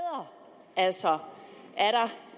altså